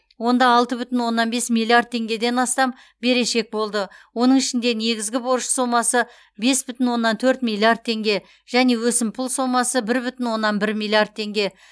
онда алты бүтін оннан бес миллиард теңгеден астам берешек болды оның ішінде негізгі борыш сомасы бес бүтін оннан төрт миллиард теңге және өсімпұл сомасы бір бүтін оннан бір миллиард теңге